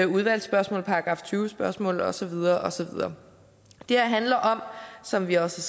udvalgsspørgsmål § tyve spørgsmål og så videre og så videre det her handler om som vi også